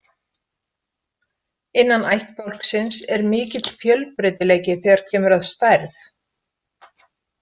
Innan ættbálksins er mikill fjölbreytileiki þegar kemur að stærð.